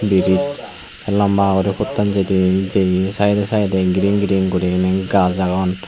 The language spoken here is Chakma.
briz ekka lamba guri pottan jidey jeye saidey saidey green green guriney gaaj agon.